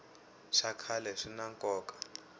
swa khale swina nkoka